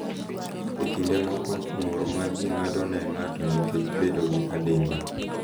E kinde moko, ng’ur ma ji ng’ado ne ng’ato nikech bedo gi adimba .